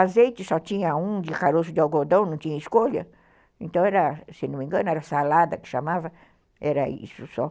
Azeite só tinha um de caroço de algodão, não tinha escolha, então era, se não me engano, era salada que chamava, era isso só.